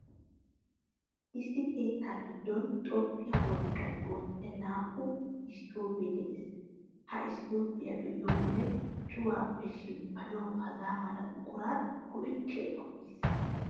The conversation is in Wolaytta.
Issi keettaa giddon xomppiyaa wolqqan oottiyaa naa''u isttoobee de'ees. Ha isttoobiyaa be'iyo wode cuwaappe shemppanawu hagaa mala buqura go'ettiyaakko giissees.